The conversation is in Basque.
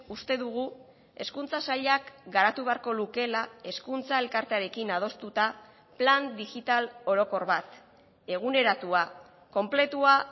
uste dugu hezkuntza sailak garatu beharko lukeela hezkuntza elkartearekin adostuta plan digital orokor bat eguneratua konpletua